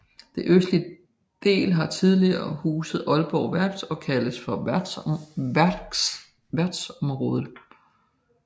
Det østligste del har tidligere huset Aalborg Værft og kaldes for værftsområdet